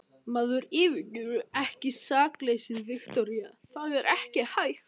Maður yfirgefur ekki sakleysið, Viktoría, það er ekki hægt.